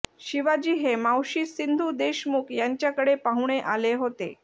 शिवाजी हे मावशी सिंधू देशमुख यांच्याकडे पाहुणे आले होते